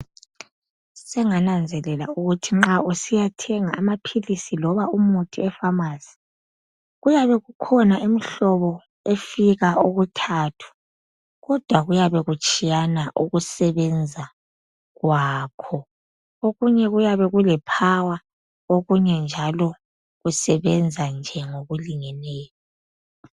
Sengananzelela ukuthi usiyathenga amaphilisi loba umuthi efamasi .Kuyabe kukhona imihlobo efika okuthathu ,kodwa kuyabe kutshiyana ukusebenza kwakho. Okunye kuyabe kulephawa okunye njalo kusebenza nje okulingeneyo.